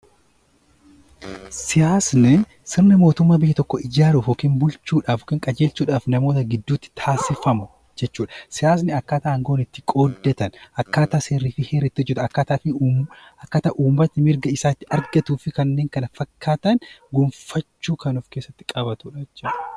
Siyaasni sirna mootummaa biyya tokkoo ijaaruuf yookaan bulchuudhaaf kan qajeelchuudhaaf namoota gidduutti kan taasifamu jechuudha. Siyaasni akkaataa aangoon itti qooddatan akkaataa heeraa fi seerri ittiin hojjatan akkaataa uummanni mirga isaa ittiin argatuu fi kanneen kana fakkaatan gonfachuu kan of keessatti qabatudha jechuudha.